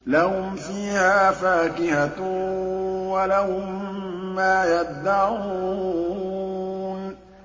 لَهُمْ فِيهَا فَاكِهَةٌ وَلَهُم مَّا يَدَّعُونَ